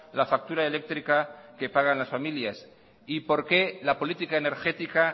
la factura eléctrica que pagan las familias y por qué la política energética